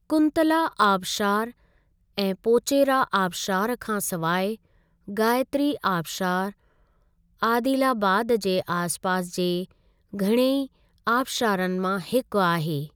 कुंतला आबिशारु ऐं पोचेरा आबिशारु खां सवाइ गायत्री आबिशारु आदिलाबाद जे आसिपासि जे घणेई आबिशारनि मां हिकु आहे ।